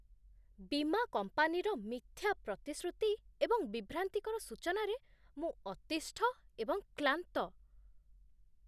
ବୀମା କମ୍ପାନୀର ମିଥ୍ୟା ପ୍ରତିଶ୍ରୁତି ଏବଂ ବିଭ୍ରାନ୍ତିକର ସୂଚନାରେ ମୁଁ ଅତିଷ୍ଠ ଏବଂ କ୍ଲାନ୍ତ।